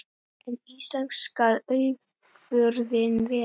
En íslensk skal afurðin vera.